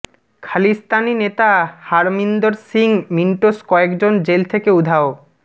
খালিস্তানি নেতা হারমিন্দর সিং মিন্টোস কয়েকজন জেল থেকে উধাও